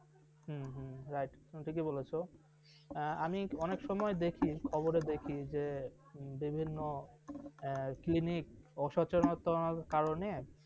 হম হম right ঠিকই বলেছ আমি অনেক সময় দেখি খবর দেখি বিভিন্ন এ clinic অসচেতনার কারণে ।